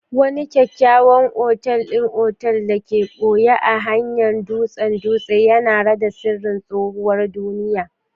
Wani kyakkyawan otal ɗin otal da aka ɓoye a kan hanyar dutsen dutse yana rada sirrin tsohuwar duniya.